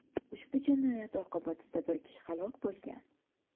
Ushbu jinoyat oqibatida bir kishi halok bo‘lgan.